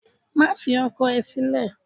Má fi ọkọ ẹ sílè!